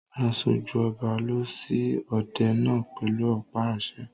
Aṣojú ọba lọ sí òde náà pẹ̀lú ọ̀pá àṣẹ.